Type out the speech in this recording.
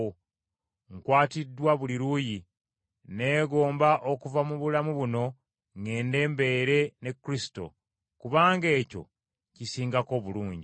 Nkwatiddwa buli luuyi; nneegomba okuva mu bulamu buno ŋŋende mbeere ne Kristo, kubanga ekyo kisingako obulungi.